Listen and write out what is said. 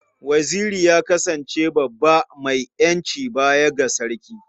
Waziri ya kasance baban mai iko baya ga Sarki.